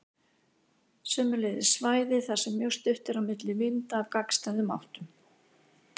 Sömuleiðis svæði þar sem mjög stutt er á milli vinda af gagnstæðum áttum.